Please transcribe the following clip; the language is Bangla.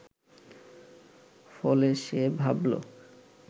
ফলে সে ভাবল